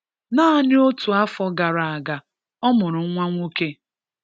Naani ótù áfọ̀ Gara aga, ọ mụrụ nwa nwọke.